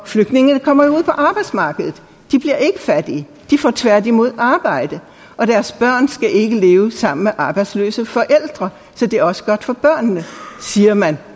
flygtningene kommer jo ud på arbejdsmarkedet de bliver ikke fattige de får tværtimod arbejde og deres børn skal ikke leve sammen med arbejdsløse forældre så det er også godt for børnene siger man